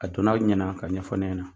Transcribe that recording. A donna ɲɛna ka ɲɛfɔ ne ɲɛna .